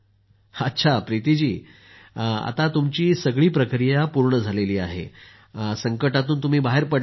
अच्छाप्रीती जी आता जेंव्हा तुमची सगळी प्रक्रिया पूर्ण झाली आपण संकटांतून बाहेर पडलात ना